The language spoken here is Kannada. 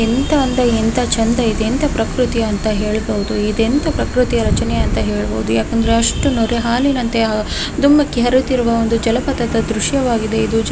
ಎಂಥ ಅಂದ ಎಂಥ ಚಂದ ಇದೆ ಅಂತ ಪ್ರಕೃತಿ ಅಂತ ಹೇಳಬಹುದು ಇದೆಂಥ ಪ್ರಕೃತಿ ರಚನೆ ಅಂತ ಹೇಳಬಹುದು ಯಾಕಂದ್ರೆ ಅಷ್ಟು ನೊರೆ ಹಾಲಿನಂತೆ ಧುಮುಕಿ ಹರಿಯುತ್ತಿರುವ ಒಂದು ಜಲಪಾತ ದೃಶ್ಯವಾಗಿದೆ ಇದು--